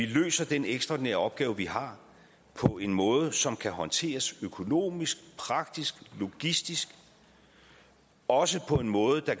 løse den ekstraordinære opgave vi har på en måde som kan håndteres økonomisk praktisk logistisk og også på en måde der